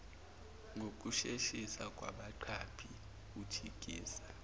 ngokusheshisa kwabaqaphi unjikiza